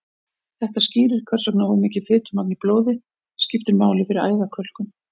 þetta skýrir hvers vegna of mikið fitumagn í blóði skiptir máli fyrir æðakölkun